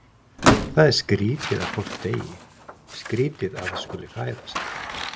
Það er skrýtið að fólk deyi, skrýtið að það skuli fæðast.